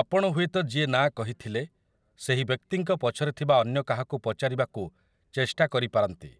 ଆପଣ ହୁଏତ ଯିଏ ନା କହିଥଲେ ସେହି ବ୍ୟକ୍ତିଙ୍କ ପଛରେ ଥିବା ଅନ୍ୟ କାହାକୁ ପଚାରିବାକୁ ଚେଷ୍ଟା କରିପାରନ୍ତି,